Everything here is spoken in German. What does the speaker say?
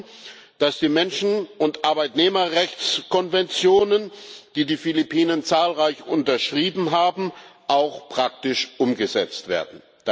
Wir hoffen, dass die Menschen und Arbeitnehmerrechtskonventionen, die die Philippinen zahlreich unterschrieben haben, auch praktisch umgesetzt werden.